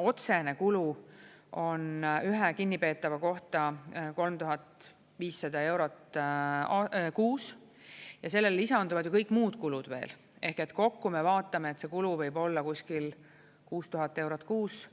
Otsene kulu on ühe kinnipeetava kohta 3500 eurot kuus ja sellele lisanduvad ju kõik muud kulud veel ehk kokku me vaatame, et see kulu võib olla kuskil 6000 eurot kuus